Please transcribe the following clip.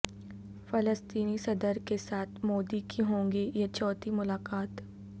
فلسطینی صدر کے ساتھ مودی کی ہوگی یہ چوتھی ملاقات